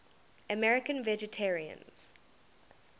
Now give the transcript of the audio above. american vegetarians